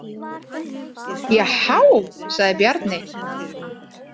Jahá, sagði Bjarni.